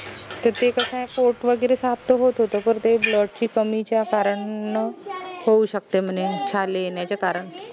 त ते कस आय पोट वगैरे साफ त होत होत पर ते blood ची कमीच्या कारण होऊ शकते म्हने छाले येण्याचं कारण